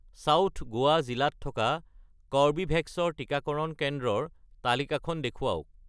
south Goa জিলাত থকা Corbevax ৰ টিকাকৰণ কেন্দ্ৰৰ তালিকাখন দেখুৱাওক